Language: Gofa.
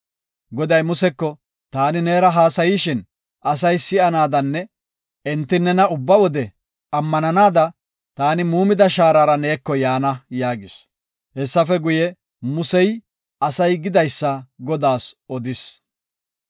Goday Museko “Taani neera haasayishin asay si7anaadanne enti nena ubba wode ammananada taani muumida shaarara neeko yaana” yaagis. Hessafe guye, Musey asay gidaysa Godaas odis.